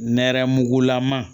Nɛrɛmugugulama